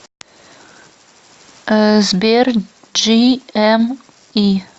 сбер джиэми